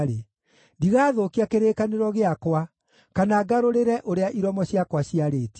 Ndigathũkia kĩrĩkanĩro gĩakwa kana ngarũrĩre ũrĩa iromo ciakwa ciarĩtie.